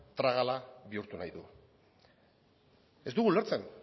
tragala bihurtu nahi du ez dugu ulertzen